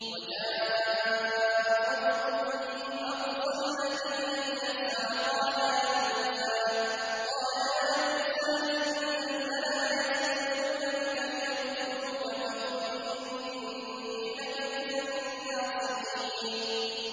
وَجَاءَ رَجُلٌ مِّنْ أَقْصَى الْمَدِينَةِ يَسْعَىٰ قَالَ يَا مُوسَىٰ إِنَّ الْمَلَأَ يَأْتَمِرُونَ بِكَ لِيَقْتُلُوكَ فَاخْرُجْ إِنِّي لَكَ مِنَ النَّاصِحِينَ